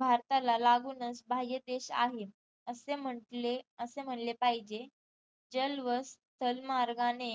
भारताला लागूनच भाय देश आहेत असे म्हटले असे म्हणले पाहिजे जल व स्थल मार्गाने